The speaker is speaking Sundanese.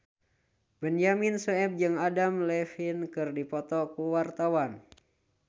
Benyamin Sueb jeung Adam Levine keur dipoto ku wartawan